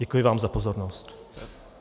Děkuji vám za pozornost.